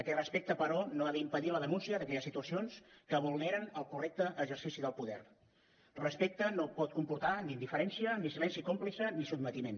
aquest respecte però no ha d’impedir la denúncia que hi ha situacions que vulneren el correcte exercici del poder respecte no pot comportar ni indiferència ni silenci còmplice ni sotmetiment